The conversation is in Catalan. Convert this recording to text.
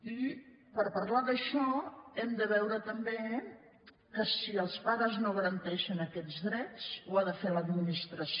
i per parlar d’això hem de veure també que si els pares no garanteixen aquests drets ho ha de fer l’administració